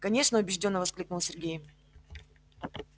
конечно убеждённо воскликнул сергей